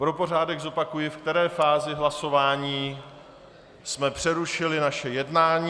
Pro pořádek zopakuji, ve které fázi hlasování jsme přerušili naše jednání.